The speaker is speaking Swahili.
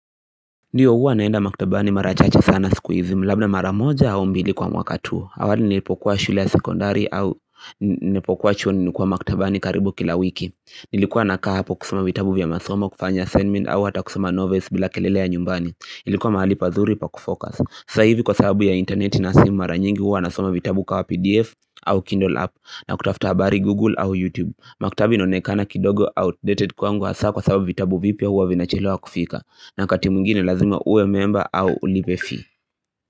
Ndio huwa naenda maktabani mara chache sana siku hizi, labda mara moja au mbili kwa mwaka tu. Awali nilipokuwa shule ya sekondari au nilipokuwa chua nilikuwa maktabani karibu kila wiki Nilikuwa nakaa hapo kusoma vitabu vya masomo kufanya assignment au hata kusoma novels bila kelele ya nyumbani Ilikuwa mahali pazuri pa kufocus. Sasa hivi kwa sababu ya internet, na simu mara nyingi huwa nasoma vitabu kama pdf au kindle app na kutafuta habari google au youtube Maktaba inaonekana kidogo outdated kwangu hasaa kwa sababu vitabu vipya huwa vinachelewa kufika na wakati mwingine lazima uwe memba au ulipe fee.